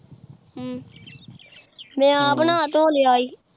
ਅਮ ਮੈਂ ਆਪ ਨਾਅ ਧੋ ਲਿਆ ਈ